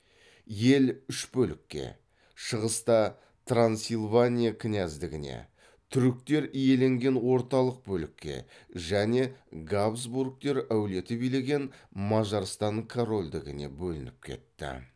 ел үш бөлікке шығыста трансилвания кінәздігіне түріктер иеленген орталық бөлікке және габсбургтер әулеті билеген мажарстан корольдігіне бөлініп кетті